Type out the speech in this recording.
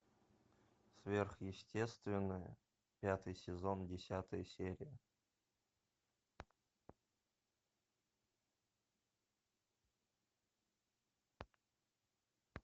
сверхъестественное пятый сезон десятая серия